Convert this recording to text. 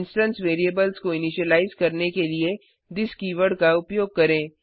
instance variables को initialize करने के लिए थिस कीवर्ड का उपयोग करें